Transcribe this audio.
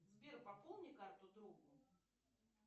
сбер пополни карту другу